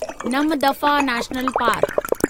Namdapha national park